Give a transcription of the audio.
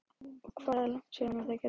Og hvað er langt síðan það gerðist?